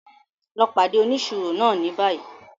Lọ pàdé òníṣírò náà ní bayii!